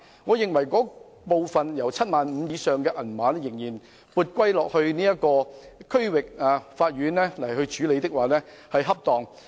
我認為，把涉及 75,000 元以上的案件撥歸區域法院處理的做法恰當。